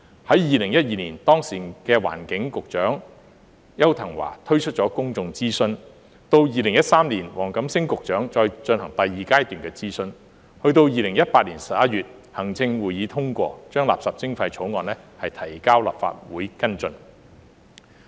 在2012年，當時的環境局局長邱騰華推出公眾諮詢，到2013年黃錦星局長再進行第二階段諮詢，及至2018年11月行政會議通過將垃圾徵費的相關法案提交立法會跟進。